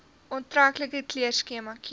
aantreklike kleurskema kies